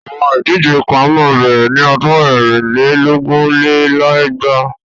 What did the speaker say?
Àwọn Ìdíje kan máa bẹ̀rẹ̀ ni ọdún ẹ̀rin lé lógún lé lẹ́gbàá.